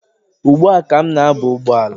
Ugbua ka m na-aba ụgbọala.